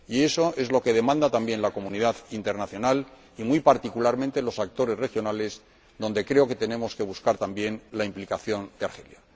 Y eso es lo que demanda también la comunidad internacional, y muy particularmente los actores regionales, donde creo que tenemos que buscar también la implicación de Argelia.